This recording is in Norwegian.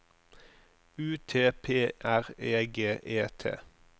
U T P R E G E T